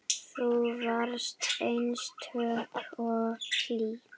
Þú varst einstök og hlý.